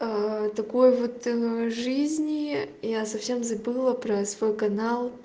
такой вот жизни я совсем забыла про свой канал